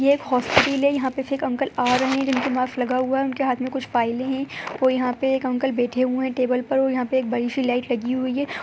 ये एक हॉस्पिटल है। यहाँ पे से एक आ रहे हैं जिनके मास्क लगा हुआ है। उनके हाथ में कुछ फाइलें हैं और यहाँ पे एक अंकल बैठे हुए हैं टेबल पर और यहाँ पे एक बड़ी सी लाइट लगी हुई है।